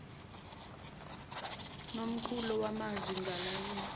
nomqulu wamazwi ngalayini